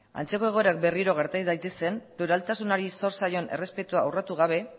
antzeko egoerak berriro gerta ez daitezen pluraltasunari zor zaion errespetua urratu gabe